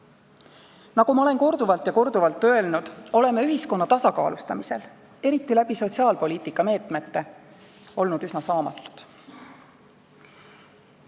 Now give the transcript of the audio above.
Nagu ma olen korduvalt ja korduvalt öelnud, oleme ühiskonna tasakaalustamisel – eriti sotsiaalpoliitika meetmete abil – olnud üsna saamatud.